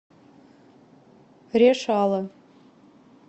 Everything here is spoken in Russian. решала